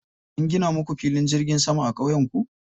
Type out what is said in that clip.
An gina muku filin jirgin sama a ƙauyenku?